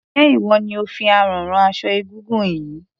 Ṣé ìwọ ni ò fi àrán rán aṣọ egúngún yìí?